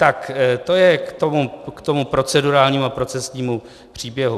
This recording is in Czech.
Tak to je k tomu procedurálnímu a procesnímu příběhu.